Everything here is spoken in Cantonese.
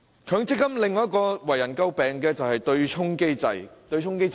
強積金另一個最為人詬病的特點是對沖機制。